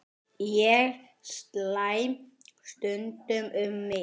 Ég slæ stundum um mig.